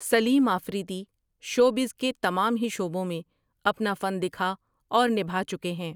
سلیم Afridi showbiz کے تمام ہی شعبوں میں اپنا فن دکھا اور نبھا چکے ہیں ۔